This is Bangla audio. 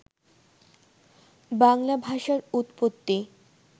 বাংলা ভাষার উৎপত্তি